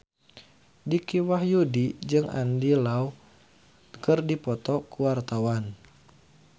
Dicky Wahyudi jeung Andy Lau keur dipoto ku wartawan